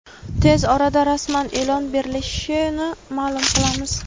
tez orada rasman e’lon berilishini maʼlum qilamiz.